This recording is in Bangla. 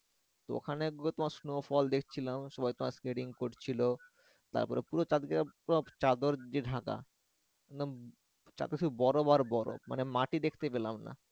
তো ওখানে গিয়ে তোমার snowfall দেখছিলাম সবাই তো স্কেটিং করছিলো তারপরে পুরো পুরো চাদর দিয়ে ঢাকা উম যাতে শুধু বরফ আর বরফ মানে মাটি দেখতে পেলাম না।